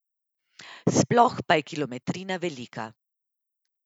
Sploh pa je kilometrina velika.